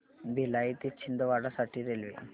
भिलाई ते छिंदवाडा साठी रेल्वे